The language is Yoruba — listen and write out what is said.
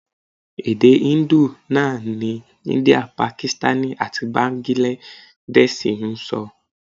Èdè Hindu náà ni India, Pakistani àti Báńgíládẹ́ṣiì ń sọ.